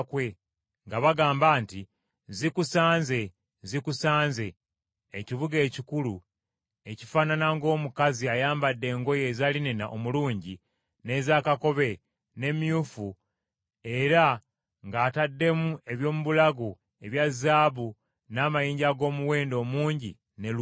nga bagamba nti, “ ‘Zikisanze, Zikisanze, ekibuga ekikulu, ekifaanana ng’omukazi ayambadde engoye eza linena omulungi, n’eza kakobe, n’emyufu, era ng’ataddemu eby’omu bulago ebya zaabu n’amayinja ag’omuwendo omungi ne luulu.